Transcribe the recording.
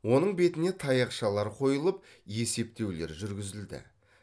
оның бетіне таяқшалар қойылып есептеулер жүргізілді